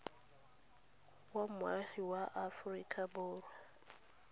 wa moagi wa aforika borwa